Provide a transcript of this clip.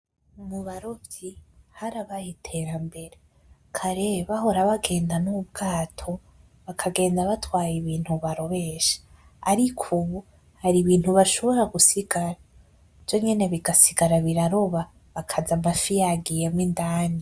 Mubarovyi harabaye iterambere kare bahora bagenda n'ubwato bakagenda batwaye ibintu barobesha , ariko ubu hari ibintu bashobora gusiga vyonyene bigasigara biraroba bakaza amafi yagiyemwo indani.